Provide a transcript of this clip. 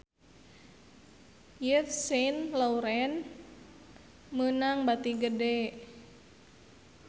Yves Saint Laurent meunang bati gede